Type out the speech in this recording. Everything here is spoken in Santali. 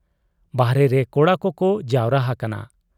ᱵᱟᱦᱨᱮᱨᱮ ᱠᱚᱲᱟ ᱠᱚᱠᱚ ᱡᱟᱣᱨᱟ ᱦᱟᱠᱟᱱᱟ ᱾